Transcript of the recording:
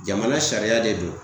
Jamana sariya de don